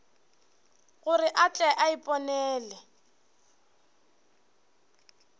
gore a tle a iponele